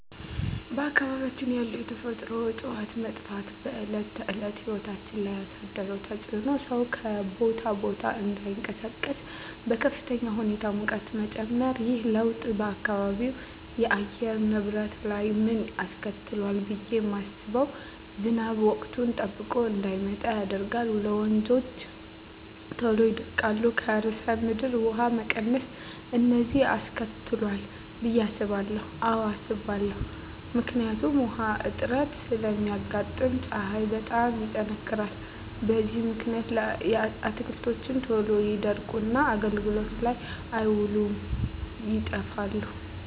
በአካባቢያችን ያሉ የተፈጥሮ እፅዋት መጥፋት በዕለት ተዕለት ሕይወት ላይ ያሣደረው ተፅኖ ሠው ከቦታ ቦታ እዳይንቀሣቀስ፤ በከፍተኛ ሁኔታ የሙቀት መጨመር። ይህ ለውጥ በአካባቢው የአየር ንብረት ላይ ምን አስከትሏል ብየ ማስበው። ዝናብ ወቅቱን ጠብቆ እዳይመጣ ያደርጋል፤ ወንዞች ቶሎ ይደርቃሉ፤ የከርሠ ምድር ውሀ መቀነስ፤ እነዚን አስከትሏል ብየ አስባለሁ። አዎ አስባለሁ። ምክንያቱም ውሀ እጥረት ስለሚያጋጥም፤ ፀሀይ በጣም ይጠነክራል። በዚህ ምክንያት አትክልቶች ቶሎ ይደርቁና አገልግሎት ላይ አይውሉም ይጠፋሉ።